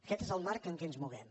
aquest és el marc en què ens movem